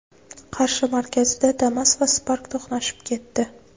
Qarshi markazida Damas va Spark to‘qnashib ketdi.